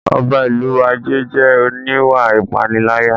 Ọba ìlú Ajé jẹ́ oníwà ìpániláyà